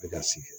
Bɛ ka sigi